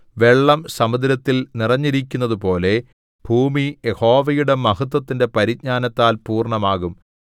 വെള്ളം സമുദ്രത്തിൽ നിറഞ്ഞിരിക്കുന്നതുപോലെ ഭൂമി യഹോവയുടെ മഹത്വത്തിന്റെ പരിജ്ഞാനത്താൽ പൂർണ്ണമാകും